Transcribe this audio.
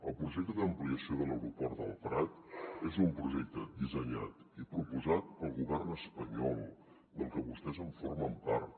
el projecte d’ampliació de l’aeroport del prat és un projecte dissenyat i proposat pel govern espanyol del que vostès formen part